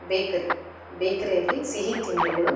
Bakery ಬೇಕರಿಯಲ್ಲಿ ಸಿಹಿ ತಿಂಡಿಗಳು.